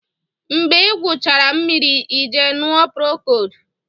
Mgbe ị gwụchara mmiri ị jee ṅụọ procold